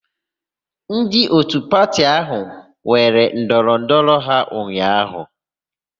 Ndị òtù pati áhụ̀ nwere ndọrọndọrọ ha ụnyaahụ.